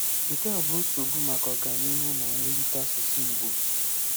Nke a bụ nsogbu maka ọganihu na mwulite asụsụ Ị̀gbò.